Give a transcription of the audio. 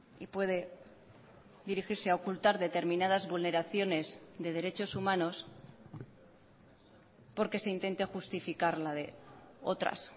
y puede dirigirse a ocultar determinadas vulneraciones de derechos humanos porque se intente justificar la de otras